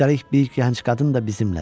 Üstəlik bir gənc qadın da bizimlədir.